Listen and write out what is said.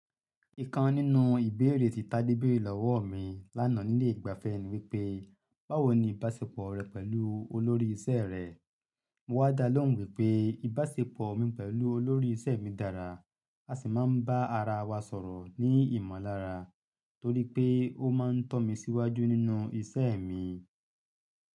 Ìkan nínú ìbéèrè tí Tade béèrè lọ́wọ́ mi lánàá níle ìgbafẹ́ ni wípé, báwo ni ìbáṣepọ̀ rẹ pẹ̀lú olórí iṣẹ́ rẹ? Mo wá dá lóhùn wípé ìbáṣepọ̀ mi pẹ̀lú olórí iṣẹ́ mi dára. A sì máa ń bá ara wa sọ̀rọ̀ ní ìmọ̀lára torí pé ó máa ń tọ́ mi síwájú nínú iṣẹ́ mi.